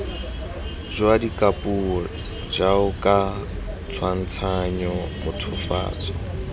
jwa dikapuo jaoka tshwantshanyo mothofatso